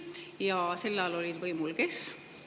Ja sel ajal oli võimul kes?